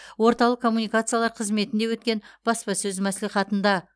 орталық коммуникациялар қызметінде өткен баспасөз мәслихатында